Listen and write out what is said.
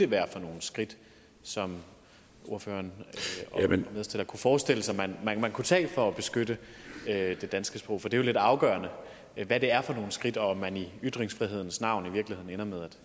være for nogle skridt som ordføreren kunne forestille sig man kunne tage for at beskytte det danske sprog for det er jo lidt afgørende hvad det er for nogle skridt og om man i ytringsfrihedens navn i virkeligheden ender med at